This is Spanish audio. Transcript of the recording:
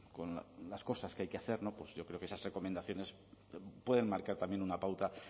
con las cosas que hay que hacer yo creo que esas recomendaciones pueden marcar también una pauta